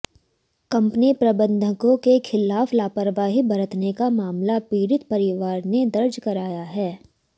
company प्रबंधकों के खिलाफ लापरवाही बरतने का मामला पीड़ित परिवार ने दर्ज कराया है